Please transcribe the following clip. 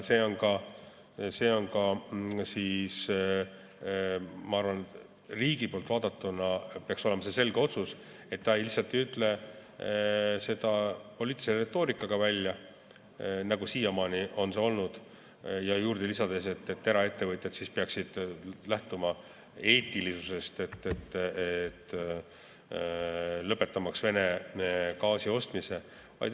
Ma arvan, et riigi poolt vaadatuna peaks olema selge otsus, et me lihtsalt ei ütle seda poliitilise retoorikana välja, nagu see siiamaani on olnud, ja juurde lisades, et eraettevõtjad peaksid lähtuma eetilisusest ja lõpetama Vene gaasi ostmise.